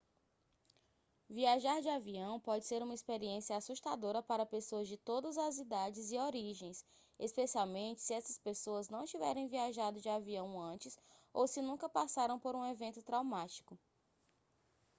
viajar de avião pode ser uma experiência assustadora para pessoas de todas as idades e origens especialmente se essas pessoas não tiverem viajado de avião antes ou se nunca passaram por um evento traumático